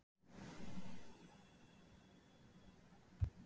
Hvað er það sem strákur segir og gerir þegar hann er leiðinlegur?